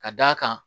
Ka d'a kan